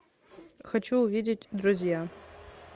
хочу увидеть друзья